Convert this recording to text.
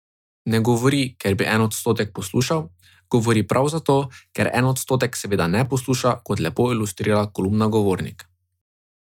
Ne govori, ker bi en odstotek poslušal, govori prav zato, ker en odstotek seveda ne posluša, kot lepo ilustrira kolumna Govornik.